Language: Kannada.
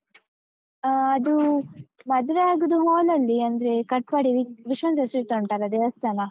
ಆ, ಅದೂ ಮದುವೆ ಆಗುದು hall ಅಲ್ಲಿ ಅಂದ್ರೆ ಕಟ್ಪಾಡಿ ವಿಶ್ವ ಉಂಟಲ್ಲ ದೇವಸ್ಥಾನ?